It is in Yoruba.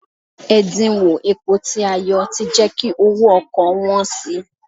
Ẹ̀díńwó epo tí a yọ ti jẹ́ kí owó ọkọ̀ wọ́n si.